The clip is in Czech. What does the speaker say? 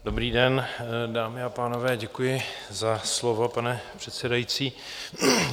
Dobrý den, dámy a pánové, děkuji za slovo, pane předsedající.